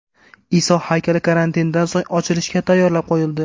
Iso haykali karantindan so‘ng ochilishga tayyorlab qo‘yildi.